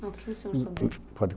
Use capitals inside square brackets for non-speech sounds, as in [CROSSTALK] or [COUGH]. O que o senhor se lembra? [UNINTELLIGIBLE] pode?